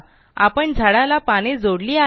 आपण झाडाला पाने जोडली आहे